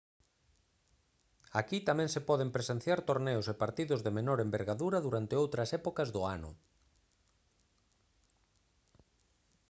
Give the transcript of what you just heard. aquí tamén se poden presenciar torneos e partidos de menor envergadura durante outras épocas do ano